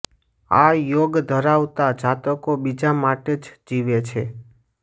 આ યોગ ધરાવતા જાતકો બીજા માટે જ જીવે છે